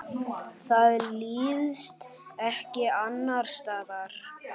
Það líðst ekki annars staðar.